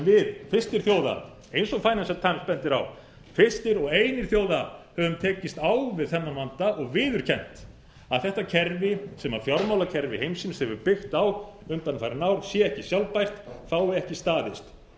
við fyrstir þjóða eins og financial times bendir á fyrstir og einir þjóða höfum við tekist á við þennan vanda og viðurkennt að þetta kerfi sem fjármálakerfi heimsins hefur byggt á undanfarin ár sé ekki sjálfbært fái ekki staðist